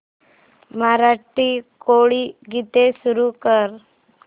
मराठी कोळी गीते सुरू कर